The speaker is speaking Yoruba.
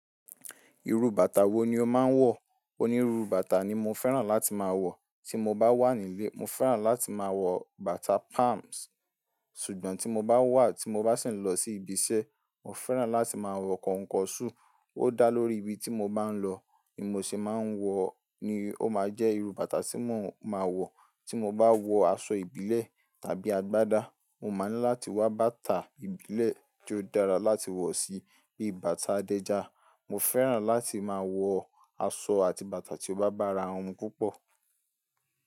Irú bàtà wo ni o máa ń wọ̀? Onírú bàtà ni mo fẹ́ràn láti máa wọ̀, tí mo bá wà nílé, mo fẹ́ràn láti máa wọ bàtà palms. Ṣùgbọ́n tí mo bá wà, tí mo bá sì ń lọ sí ibiṣẹ́, mo fẹ́ràn láti máa wọ kọ̀nkọ̀ṣù. Ó dá lórí ibi tí mo bá ń lọ ni mo ṣe máa ń wọ ni ó máa jẹ́ irú bàtà tí mo máa wọ̀. Tí mo bá wọ aṣọ ìbílẹ̀ tàbí agbádá, mo máa ní láti wá bàtà ìbílẹ̀ tí ó dára láti wọ̀ sí bíi bàtà Adẹ́ja. Mo fẹ́ràn láti máa wọ aṣọ àti bàtà tí ó bá bàrà won mu púpọ̀.